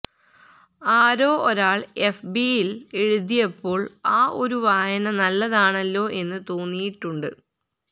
ആരോ ഒരാള് എഫ് ബിയില് എഴുതിയപ്പോള് ആ ഒരു വായന നല്ലതാണല്ലോ എന്ന് തോന്നിയിട്ടുണ്ട്